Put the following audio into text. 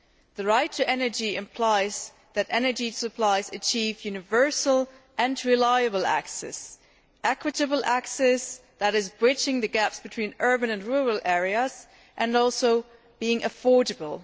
The right to energy implies that energy supplies achieve universal and reliable access equitable access that bridges the gap between urban and rural areas and is also affordable.